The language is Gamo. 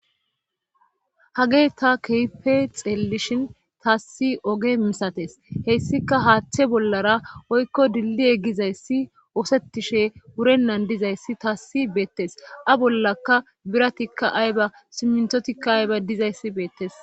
hage ta keefe xeellishin taassi oge misates hessika haaththe bollara oykko dilli e gizayssi oosettishe wurennan dizayssi taassi beettes a bollaka biratikka ayba simntotikka ayba dizayssi beettes